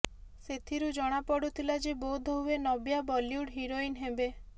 ସେଥିରୁ ଜଣାପଡ଼ୁଥିଲା ଯେ ବୋଧହୁଏ ନବ୍ୟା ବଲିଉଡ୍ ହିରୋଇନ୍ ହେବେ